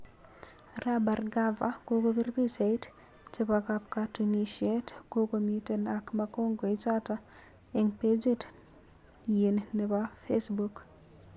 Arap Bhargava kokopir pichait chepo kapkatunishet kokomiten ak magongo ichato eng pageit yin nepo Facebook